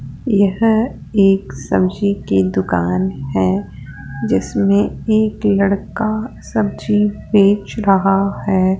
यह एक सब्जी की दुकान है जिसमें एक लड़का सब्जी बेच रहा है।